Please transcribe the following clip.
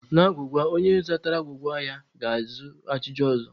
N'agwụgwa, onye zatara agwụgwa ga-ajụ ajụjụ ọzọ.